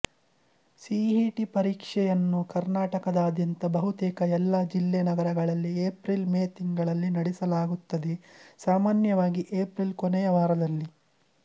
CET ಪರೀಕ್ಷೆಯನ್ನು ಕರ್ನಾಟಕದಾದ್ಯಂತ ಬಹುತೇಕ ಎಲ್ಲಾ ಜಿಲ್ಲೆ ನಗರಗಳಲ್ಲಿ ಏಪ್ರಿಲ್ ಮೇ ತಿಂಗಳಲ್ಲಿ ನಡೆಸಲಾಗುತ್ತದೆ ಸಾಮಾನ್ಯವಾಗಿ ಏಪ್ರಿಲ್ ಕೊನೆಯ ವಾರದಲ್ಲಿ